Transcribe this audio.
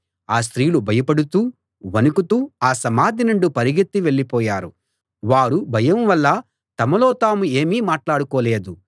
ఆ స్త్రీలు భయపడుతూ వణుకుతూ ఆ సమాధి నుండి పరుగెత్తి వెళ్ళిపోయారు వారు భయం వల్ల తమలో తాము ఏమీ మాట్లాడుకోలేదు